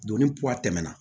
Donni tɛmɛna